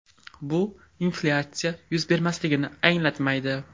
Bu inflyatsiya yuz bermasligini anglatmaydi.